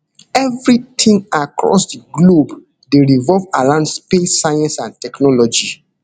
evri tin across di globe dey revolve around space science and technology